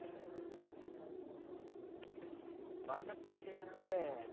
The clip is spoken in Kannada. ಬಾದಕರ ವಿಷ್ಯ ಅಂದ್ರೆ